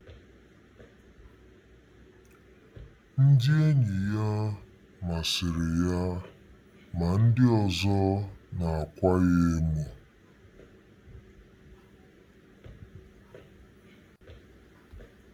Ndị enyi ya masịrị ya ma ndị ọzọ na-akwa ya emo.